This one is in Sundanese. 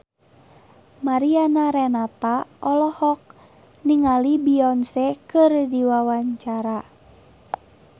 Mariana Renata olohok ningali Beyonce keur diwawancara